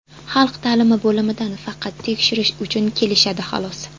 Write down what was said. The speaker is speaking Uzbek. Xalq ta’limi bo‘limidan faqat tekshirish uchun kelishadi, xolos.